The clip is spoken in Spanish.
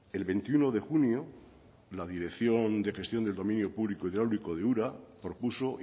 el veintiuno de junio la dirección de gestión del dominio público hidráulico de ura propuso